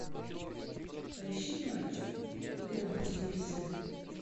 поищи матч игра на телевизоре